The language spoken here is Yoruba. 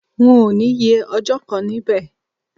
N ò ní ye ọjọ́ kan níbẹ̀